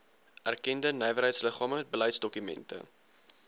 erkende nywerheidsliggame beleidsdokumente